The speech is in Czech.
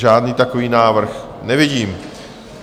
Žádný takový návrh nevidím.